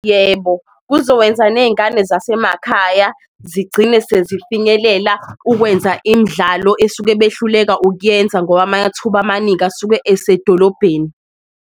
Yebo, kuzowenza ney'ngane zasemakhaya zigcine sezifinyelela ukwenza imdlalo esuke behluleka ukuyenza, ngoba amathuba amaningi asuke esedolobheni.